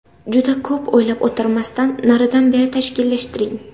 Juda ko‘p o‘ylab o‘tirmasdan naridan-beri tashkillashtiring.